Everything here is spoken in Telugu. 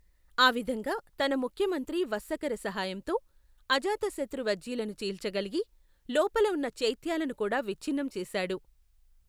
ఆ విధంగా, తన ముఖ్యమంత్రి వస్సకర సహాయంతో, అజాతశత్రు వజ్జీలను చీల్చగలిగి, లోపల ఉన్న చైత్యాలను కూడా విచ్ఛిన్నం చేశాడు.